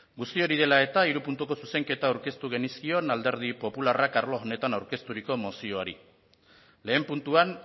guzti hori dela eta hiru puntuko zuzenketa aurkeztu genizkion alderdi popularrak arlo honetan aurkezturiko mozioari lehen puntuan